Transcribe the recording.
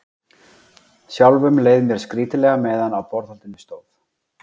Sjálfum leið mér skrýtilega meðan á borðhaldinu stóð.